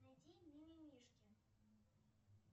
найди мимимишки